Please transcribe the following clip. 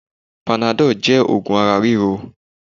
Panadọ́ọ̀ jẹ́ oògùn ara ríro